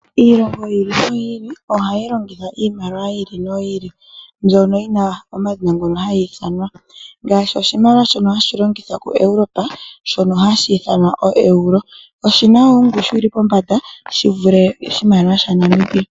Iilongo yili noyili ohayi longitha iimaliwa yayooloka. Oyina omadhina gawo, ngaashi oshimaliwa hashi longithwa kiilongo yokoEurope shoka hashi ithanwa Euros. Ongushu hasho oyivule ongushu yoondola dhaNamibia.